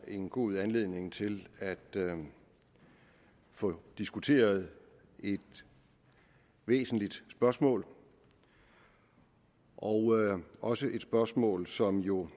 en god anledning til at få diskuteret et væsentligt spørgsmål og også et spørgsmål som jo